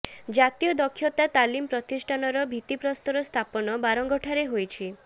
ଜାତୀୟ ଦକ୍ଷତା ତାଲିମ ପ୍ରତିଷ୍ଠାନର ଭିତିପ୍ରସ୍ତର ସ୍ଥାପନ ବାରଙ୍ଗଠାରେ ହୋଇଛି